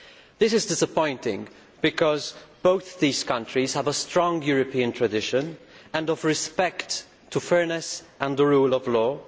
That is disappointing because both these countries have a strong European tradition of respect for fairness and the rule of law.